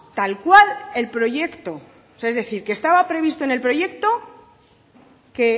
tal cual el proyecto es decir que estaba previsto en el proyecto que